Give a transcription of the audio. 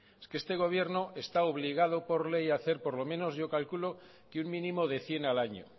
es que este gobierno está obligado por ley a hacer por lo menos yo calculo que un mínimo de cien al año